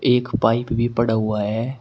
एक पाइप भी पड़ा हुआ है।